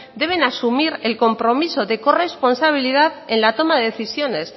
deben asumir el compromiso de corresponsabilidad en la toma de decisiones